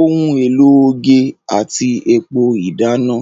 ohun èlò oge àti epo ìdáná.